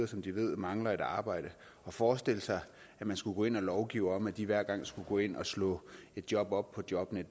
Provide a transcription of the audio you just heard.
som de ved mangler et arbejde at forestille sig at man skulle gå ind og lovgive om at de hver gang skulle gå ind og slå et job op på jobnet